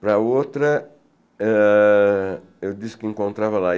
Para a outra, eh eu disse que encontrava lá.